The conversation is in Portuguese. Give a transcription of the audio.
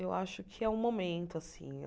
Eu acho que é o momento, assim.